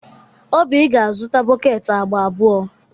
Oby ga-azụta bọket agba abụọ.